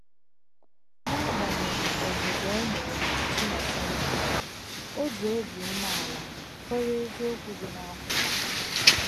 N’agbanyeghị ọzụzụ e nyere Nkechi na semịnarị, o ji obi umeala kwere eziokwu dị n'akwụkwọ a